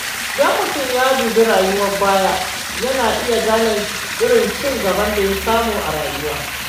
Idan mutum ya dubi rayuwar baya, yana iya gane irin ci gaban da ya samu a rayuwa.: